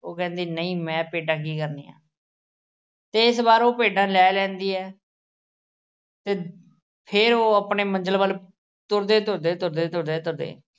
ਉਹ ਕਹਿੰਦਾ ਨਈਂ ਮੈਂ ਭੇਡਾਂ ਕੀ ਕਰਨੀਆਂ ਤੇ ਏਸ ਵਾਰ ਉਹ ਭੇਡਾਂ ਲੈ ਲੈਂਦੀ ਐ। ਤੇ ਫਿਰ ਉਹ ਆਪਣੀ ਮੰਜ਼ਿਲ ਵੱਲ ਤੁਰਦੇ ਤੁਰਦੇ ਤੁਰਦੇ ਤੁਰਦੇ ਤੁਰਦੇ